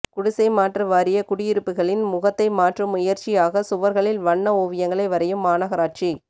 குடிசை மாற்று வாரிய குடியிருப்புகளின் முகத்தை மாற்றும் முயற்சியாக சுவர்களில் வண்ண ஓவியங்களை வரையும் மாநகராட்சி